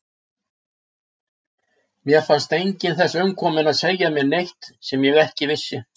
Mér fannst enginn þess umkominn að segja mér neitt sem ég ekki vissi.